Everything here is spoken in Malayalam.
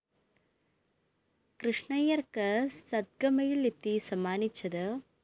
കൃഷ്ണയ്യര്‍ക്ക് സദ്ഗമയില്‍ എത്തി സമ്മാനിച്ചത്